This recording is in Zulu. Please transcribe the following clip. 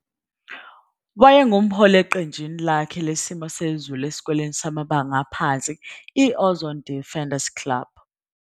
Wayengumholi eqenjini lakhe lesimo sezulu esikoleni samabanga aphansi, i-Ozone Defenders Club.